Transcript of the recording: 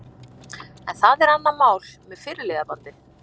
En það er annað mál með fyrirliðabandið.